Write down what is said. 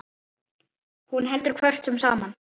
Hún heldur kvörkum saman.